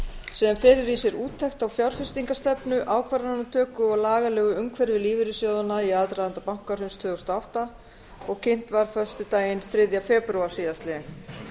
sem felur í sér úttekt á fjárfestingarstefnu ákvarðanatöku og lagalegu umhverfi lífeyrissjóðanna í aðdraganda bankahruns tvö þúsund og átta og kynnt var föstudaginn þriðja febrúar síðastliðinn